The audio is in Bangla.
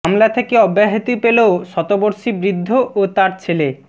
মামলা থেকে অব্যাহতি পেল শতবর্ষী বৃদ্ধ ও তার ছেলে